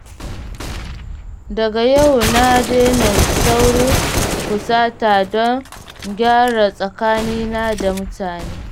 Daga yau na dena saurin fusata don gyara tsakanina da mutane